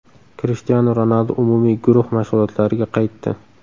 Krishtianu Ronaldu umumiy guruh mashg‘ulotlariga qaytdi.